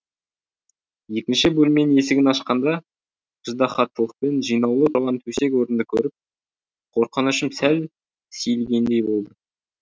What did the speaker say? екінші бөлменің есігін ашқанға ыждаһаттылықпен жинаулы тұрған төсек орынды көріп қорқынышым сәл сейілгендей болды